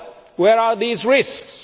Where are these risks?